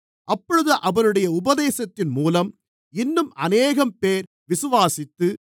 அப்பொழுது அவருடைய உபதேசத்தின் மூலம் இன்னும் அநேகம்பேர் விசுவாசித்து